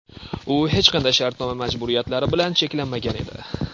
U hech qanday shartnoma majburiyatlari bilan cheklanmagan edi.